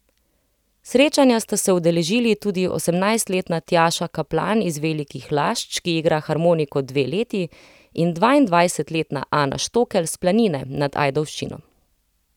Srečanja sta se udeležili tudi osemnajstletna Tjaša Kaplan iz Velikih Lašč, ki igra harmoniko dve leti, in dvaindvajsetletna Ana Štokelj s Planine nad Ajdovščino.